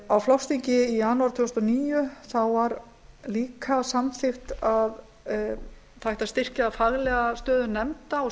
á flokksþingi í janúar tvö þúsund og níu var líka samþykkt að það ætti að styrkja faglega stöðu nefnda og